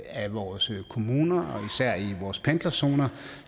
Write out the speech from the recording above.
af vores kommuner og især vores pendlerzoner